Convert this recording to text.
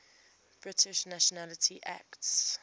british nationality act